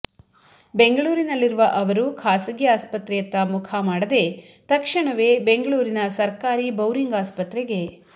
ಬೆಂಗಳೂರಿನಲ್ಲಿರುವ ಅವರು ಖಾಸಗಿ ಆಸ್ಪತ್ರೆಯತ್ತ ಮುಖಮಾಡದೇ ತಕ್ಷಣವೇ ಬೆಂಗಳೂರಿನ ಸರ್ಕಾರಿ ಬೌರಿಂಗ್ ಆಸ್ಪತ್ರೆಗೆ